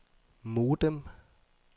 modem